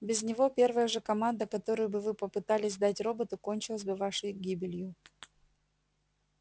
без него первая же команда которую бы вы попытались дать роботу кончилась бы вашей гибелью